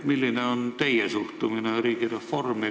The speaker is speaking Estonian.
Milline on teie suhtumine riigireformi?